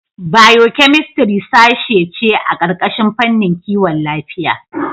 Biokemistri sashe ce a ƙarƙashin fannin Kiwon Lafiya.